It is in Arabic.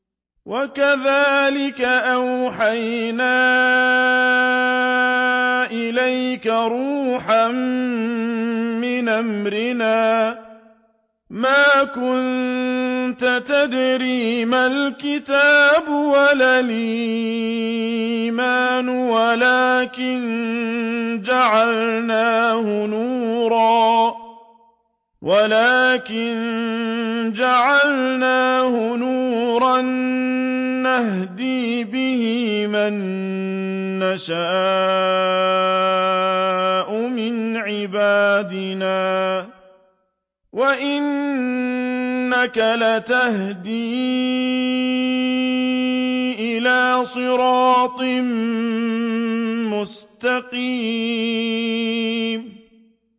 وَكَذَٰلِكَ أَوْحَيْنَا إِلَيْكَ رُوحًا مِّنْ أَمْرِنَا ۚ مَا كُنتَ تَدْرِي مَا الْكِتَابُ وَلَا الْإِيمَانُ وَلَٰكِن جَعَلْنَاهُ نُورًا نَّهْدِي بِهِ مَن نَّشَاءُ مِنْ عِبَادِنَا ۚ وَإِنَّكَ لَتَهْدِي إِلَىٰ صِرَاطٍ مُّسْتَقِيمٍ